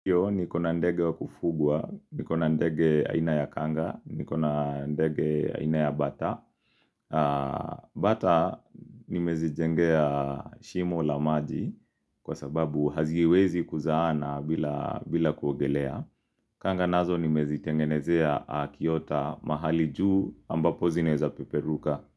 Kyo ni kona ndege wa kufugwa, ni kona ndege aina ya Kanga, ni kona ndege aina ya Bata. Bata nimezi jengea shimo lamaji kwa sababu haziwezi kuzana bila kuogelea. Kanga nazo nimezi tengenezea a Kiyota mahali juu ambapo zineza peperuka.